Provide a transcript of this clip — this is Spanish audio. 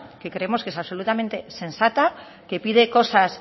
que creemos que es absolutamente sensata que pide cosas